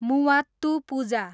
Muvattupuzha